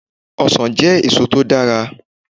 Ọsàn jẹ́ èso to dára